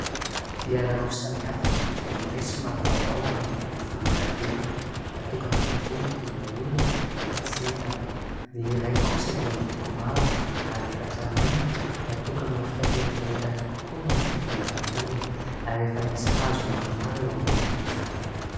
Fiara roa samy hafa : ny iray somary vaovao ary miloko volondavenona natokana kokoa hitondra olona fa tsy entana, ny iray kosa dia miloko mavo ary efa tranainy natokana ho fitaterana entana kokoa nohon'ny fitondrana olona ary efa misy hazo maromaro eo ambonin'izany.